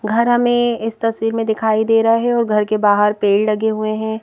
घर हमें इस तस्वीर में दिखाई दे रहा है और घर के बाहर पेड़ लगे हुए हैं.